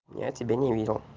я тебе не видел